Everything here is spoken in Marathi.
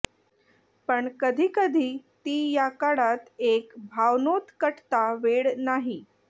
पण कधी कधी ती या काळात एक भावनोत्कटता वेळ नाही